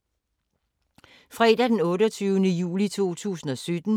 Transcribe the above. Fredag d. 28. juli 2017